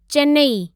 Chennai